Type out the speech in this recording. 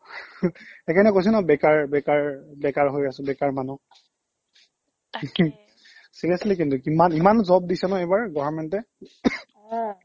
সেইকাৰণে কৈছো ন বেকাৰ বেকাৰ বেকাৰ হৈ আছো বেকাৰ মানুহ seriously কিন্তু কিমান ইমান job দিছে নহয় governmentয়ে